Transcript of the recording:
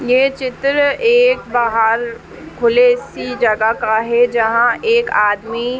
यह चित्र एक बाहार खुले सी जगह का है जहां एक आदमी --